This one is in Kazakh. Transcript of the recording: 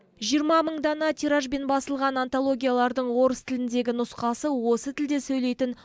жиырма мың дана тиражбен басылған антологиялардың орыс тіліндегі нұсқасы осы тілде сөйлейтін